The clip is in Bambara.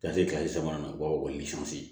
Ka se kile sabanan ma o b'a fɔ ko